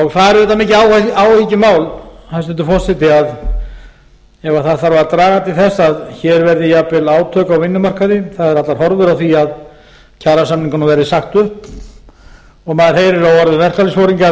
það er auðvitað mikið áhyggjumál hæstvirtur forseti ef það þarf að draga til þess að hér verði jafnvel átök á vinnumarkaði það eru allar horfur á því að kjarasamningunum verði sagt upp og maður heyrir á orðum verkalýðsforingja að